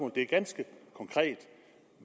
det er ganske konkret